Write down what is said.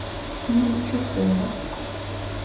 минчукова